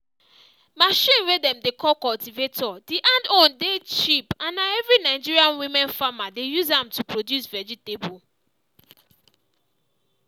machine way dem dey call cultivator the hand own dey cheap and na every nigeria women farmer dey use am to produce vegetable.